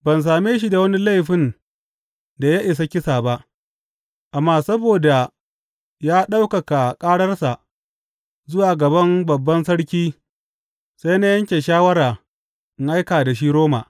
Ban same shi da wani laifin da ya isa kisa ba, amma saboda ya ɗaukaka ƙararsa zuwa gaban Babban Sarki sai na yanke shawara in aika da shi Roma.